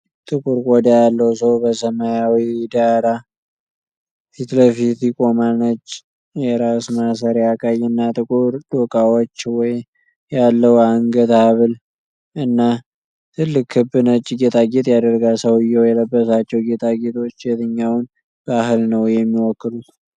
ጥቁር ቆዳ ያለው ሰው በሰማያዊ ዳራ ፊትለፊት ይቆማል። ነጭ የራስ ማሰሪያ፣ ቀይና ጥቁር ዶቃዎች ያለው የአንገት ሀብል እና ትልቅ ክብ ነጭ ጌጣጌጥ ያደርጋል። ሰውዬው የለበሳቸው ጌጣጌጦች የትኛውን ባህል ነው የሚወክሉት?